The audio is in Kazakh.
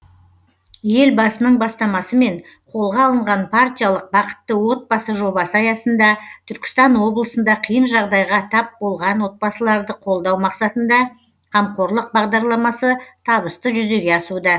елбасының бастамасымен қолға алынған партиялық бақытты отбасы жобасы аясында түркістан облысында қиын жағдайға тап болған отбасыларды қолдау мақсатында қамқорлық бағдарламасы табысты жүзеге асуда